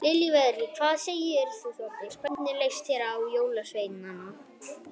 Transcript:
Lillý Valgerður: Hvað segir þú Þórdís, hvernig leist þér á jólasveinana?